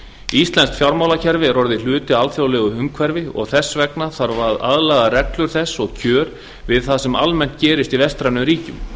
íslenskt fjármálakerfi er orðið hluti af alþjóðlegu umhverfi og þess vegna þarf að aðlaga reglur þess og kjör við það sem almennt gerist í vestrænum ríkjum